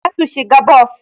Zasu shiga bos